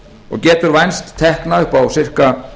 og getur vænst tekna upp á sirka